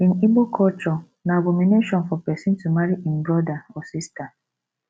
in igbo culture na abomination for pesin to marry im brother or sister